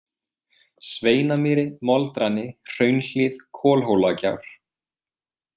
Sveinamýri, Moldrani, Hraunhlíð, Kolhólagjár